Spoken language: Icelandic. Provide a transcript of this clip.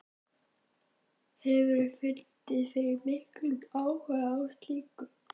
Hefurðu fundið fyrir miklum áhuga á slíku?